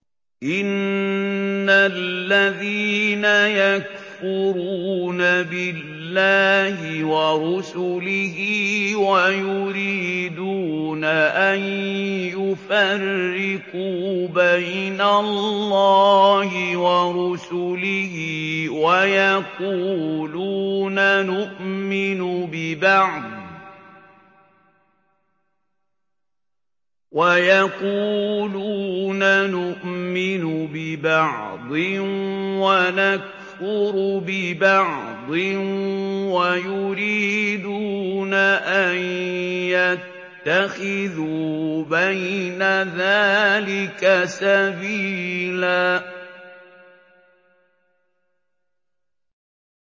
إِنَّ الَّذِينَ يَكْفُرُونَ بِاللَّهِ وَرُسُلِهِ وَيُرِيدُونَ أَن يُفَرِّقُوا بَيْنَ اللَّهِ وَرُسُلِهِ وَيَقُولُونَ نُؤْمِنُ بِبَعْضٍ وَنَكْفُرُ بِبَعْضٍ وَيُرِيدُونَ أَن يَتَّخِذُوا بَيْنَ ذَٰلِكَ سَبِيلًا